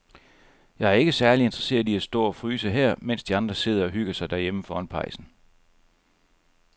Jeg er ikke særlig interesseret i at stå og fryse her, mens de andre sidder og hygger sig derhjemme foran pejsen.